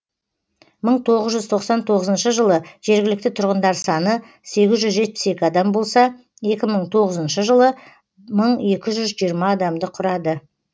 мың тоғыз жүз тоқсан тоғызыншы жылы жергілікті тұрғындар саны сегіз жүз жетпіс екі адам болса екі мың тоғызыншы жылы мың екі жүз жиырма адамды құрады